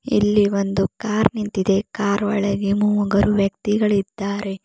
ಇಲ್ಲಿ ಒಂದು ಕಾರ್ ನಿಂತಿದೆ ಕಾರ್ ಒಳಗೆ ಮೂಗರು ವ್ಯಕ್ತಿಗಳಿದ್ದಾರೆ.